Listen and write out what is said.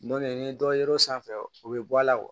Dɔnk ni dɔ yer'o sanfɛ u bɛ bɔ a la